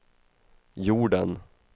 jorden